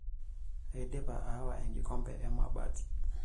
Aidipa aawa enkikombe emabati.